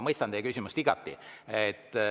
Ma mõistan teie küsimust igati.